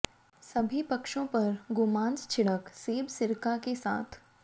सभी पक्षों पर गोमांस छिड़क सेब सिरका के साथ